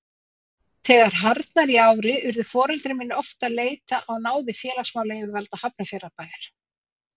Þegar harðnaði í ári urðu foreldrar mínir oft að leita á náðir félagsmálayfirvalda Hafnarfjarðarbæjar.